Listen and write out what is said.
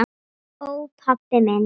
Ó, pabbi minn.